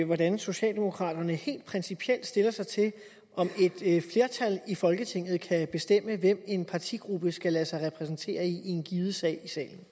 hvordan socialdemokraterne helt principielt stiller sig til om et flertal i folketinget kan bestemme hvem en partigruppe skal lade sig repræsentere af i en given sag